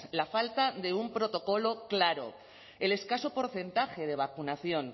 la falta de un protocolo claro el escaso porcentaje de vacunación